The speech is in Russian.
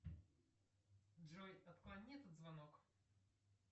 джой отклони этот звонок